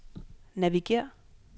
navigér